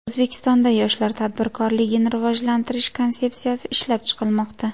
O‘zbekistonda yoshlar tadbirkorligini rivojlantirish konsepsiyasi ishlab chiqilmoqda.